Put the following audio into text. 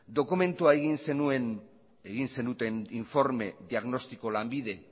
dokumentua egin zenuten informe diagnostiko lanbide